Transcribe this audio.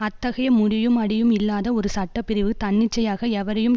அத்தகைய முடியும் அடியும் இல்லாத ஒரு சட்ட பிரிவு தன்னிச்சையாக எவரையும்